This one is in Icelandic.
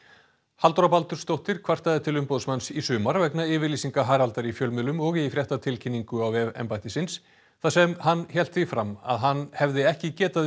Halldóra Baldursdóttir kvartaði til umboðsmanns í sumar vegna yfirlýsinga Haraldar í fjölmiðlum og í fréttatilkynningu á vef embættisins þar sem hann hélt því fram að hann hefði ekki getað